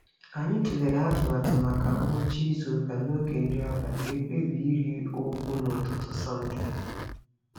Anyị tụlere atụmatụ maka ngwụcha izuụka n'oge nri abalị wee kpebie ịrị ugwu n'ụtụtụ Sọnde.